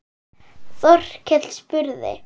Þórkell spurði